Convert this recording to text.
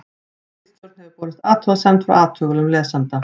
ritstjórn hefur borist athugasemd frá athugulum lesanda